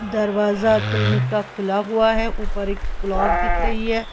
दरवाजा क्लिनिक का खुला हुआ है ऊपर एक ब्लॉक दिख रही है।